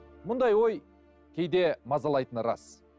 мұндай ой кейде мазалайтыны рас